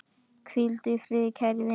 Hvíldu í friði, kæri vinur.